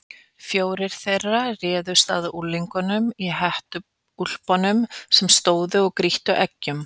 Fjórir þeirra réðust að unglingunum í hettuúlpunum sem stóðu og grýttu eggjum.